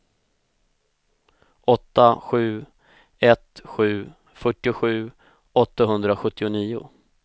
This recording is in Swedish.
åtta sju ett sju fyrtiosju åttahundrasjuttionio